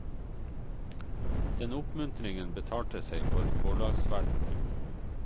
Den oppmuntringen betalte seg for forlagsverdenen.